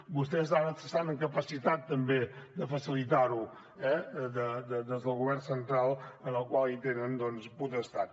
vostès estan en capacitat també de facilitar ho des del govern central en el qual hi tenen potestat